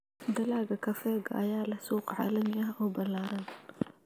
Dalagga kafeega ayaa leh suuq caalami ah oo ballaaran.